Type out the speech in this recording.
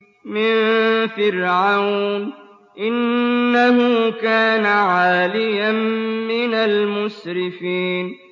مِن فِرْعَوْنَ ۚ إِنَّهُ كَانَ عَالِيًا مِّنَ الْمُسْرِفِينَ